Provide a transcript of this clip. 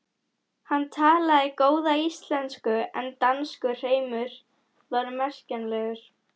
Hann talaði góða íslensku en danskur hreimur var merkjanlegur.